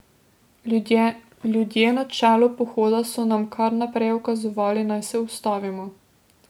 Ljudje na čelu pohoda so nam kar naprej ukazovali, naj se ustavimo.